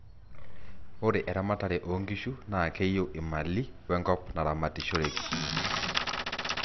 ore eramatare oo nkishu naa keyieu imali wenkop naramatishoeki